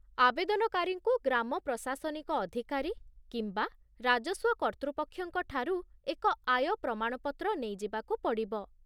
ଆବେଦନକାରୀଙ୍କୁ ଗ୍ରାମ ପ୍ରଶାସନିକ ଅଧିକାରୀ କିମ୍ବା ରାଜସ୍ୱ କର୍ତ୍ତୃପକ୍ଷଙ୍କ ଠାରୁ ଏକ ଆୟ ପ୍ରମାଣପତ୍ର ନେଇ ଯିବାକୁ ପଡ଼ିବ